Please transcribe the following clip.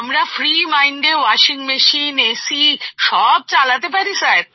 আমরা ফ্রি মাইন্ডে washing machine AC সব চালাতে পারি স্যার